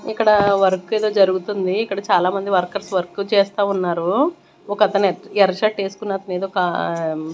ఇక్కడ వర్క్ ఏదో జరుగుతుంది ఇక్కడ చాలామంది వర్కర్స్ వర్క్ చేస్తా ఉన్నారు ఒకతను ఎర్ర షర్ట్ ఎస్కున్నతను ఏదో ఒక--